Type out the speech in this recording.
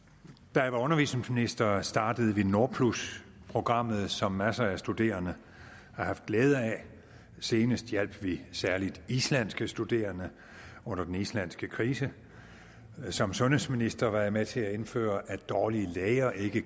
da jeg var undervisningsminister startede vi nordplusprogrammet som masser af studerende har haft glæde af senest hjalp vi særlig islandske studerende under den islandske krise som sundhedsminister var jeg med til at indføre at dårlige læger ikke